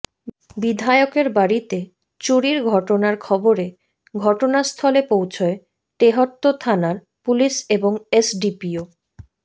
বিধায়কের বাড়িতে চুরির ঘটনার খবরে ঘটনাস্থলে পৌঁছয় তেহট্ট থানার পুলিশ এবং এসডিপিও